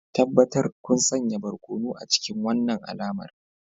Tabbatar kun sanya barkono a cikin wannan alamar